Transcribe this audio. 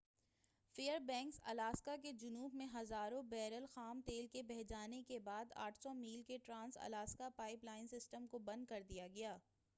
فیر banks Alaska کے جنوب میں ہزاروں بیرل خام تیل کے بہہ جانے کے بعد 800 میل کے trans Alaska pipeline system کو بند کر دیا گیا